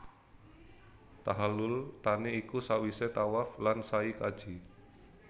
Tahallul thani iku sawise tawaf lan sai kaji